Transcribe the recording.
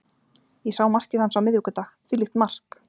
Ég sá markið hans á miðvikudag, þvílíkt mark.